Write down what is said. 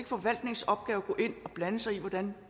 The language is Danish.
forvaltningens opgave at gå ind og blande sig i hvordan